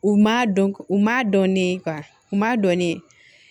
U ma dɔn u ma dɔn ne ye u ma dɔn ne ye